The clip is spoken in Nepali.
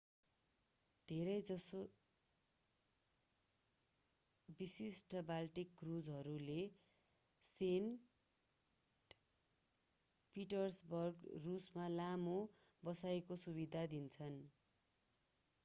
धेरै जसो विशिष्ट बाल्टिक क्रुजहरूले सेन्ट पिटर्सबर्ग रूसमा लामो बसाईंको सुविधा दिन्छन्